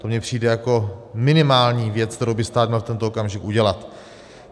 To mně přijde jako minimální věc, kterou by stát měl v tento okamžik udělat.